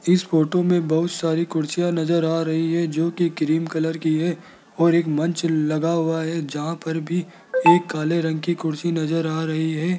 इस फोटो में बहोत सारी कुर्सियां नजर आ रही है जो की क्रीम कलर की है और एक मंच लगा हुआ है जहां पर भी एक काले रंग की कुर्सी नजर आ रही है।